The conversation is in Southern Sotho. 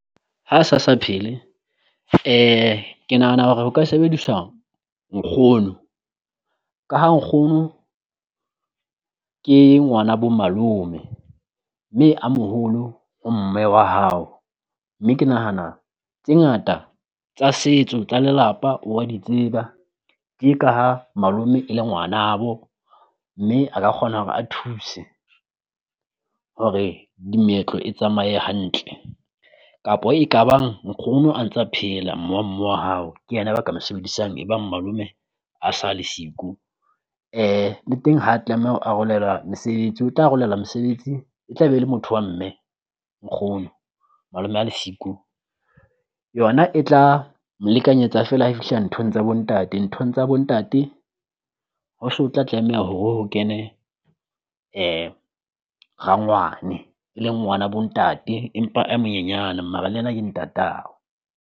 Ha sa sa phele ke nahana hore ho ka sebediswa nkgono ka ha nkgono ke ngwana bo malome, mme a moholo ho mme wa hao. Mme ke nahana tse ngata tsa setso tsa lelapa o wa di tseba ke ka ha malome e le ngwanabo mme a ka kgona hore a thuse hore dimeetlo e tsamaye hantle, kapo e ka bang nkgono a ntsa phela mme wa mme wa hao ke yena ka mo sebedisang e bang malome a sa le siko. Le teng ha tlameha ho arolelwa mesebetsi, o tla arolelwa mesebetsi e tla be le motho wa mme nkgono malome a le siko, yona e tla lekanyetsa feela ha fihla nthong tsa bo ntate. Nthong tsa bo ntate ho so o tla tlameha hore ho kene rangwane e le ngwana bo ntate, empa a monyenyana mara le ena ke ntatao.